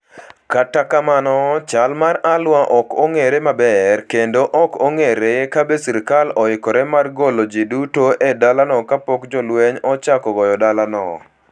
Kata kamano, chal mar Al-Waer ok ong'ere maber, kendo ok ong'ere kabe sirkal oikore mar golo ji duto e dalano kapok jolweny ochako goyo dalano.